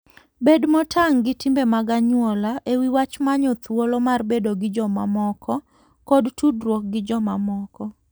Bed motang' gi timbe mag anyuola e wi wach manyo thuolo mar bedo gi jomamoko kod tudruok gi jomamoko.